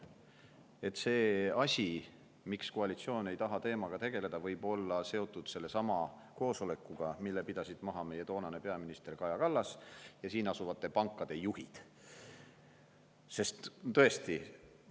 miks koalitsioon ei taha teemaga tegeleda, võib olla seotud sellesama koosolekuga, mille pidasid maha meie toonane peaminister Kaja Kallas ja asuvate pankade juhid.